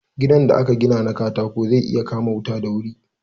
Gidan da aka gina na katako zai iya kama wuta da wuri